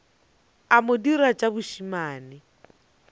a mo dira tša bošemane